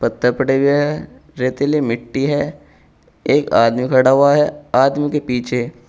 त पड़े हुए हैं रेतीली मिट्टी है एक आदमी खड़ा हुआ है आदमी के पीछे--